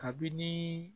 Kabini